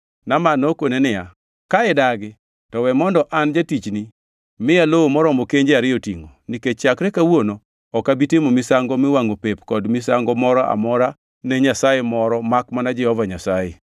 Naaman nokone niya, “Ka idagi, to we mondo an jatichni miya lowo moromo kenje ariyo tingʼo, nikech chakre kawuono ok abi timo misango miwangʼo pep kod misango moro amora ne nyasaye moro makmana Jehova Nyasaye.